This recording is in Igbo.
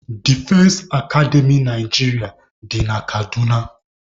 Defense Akademy Naịjirịa dị na Kaduna.